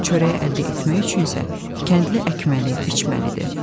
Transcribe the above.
Çörəyi əldə etmək üçün isə kəndli əkməli, biçməlidir.